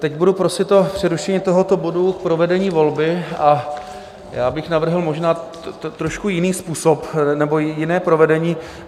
Teď budu prosit o přerušení tohoto bodu k provedení volby a já bych navrhl možná trošku jiný způsob nebo jiné provedení.